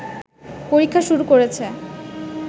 পরীক্ষা শুরু করেছে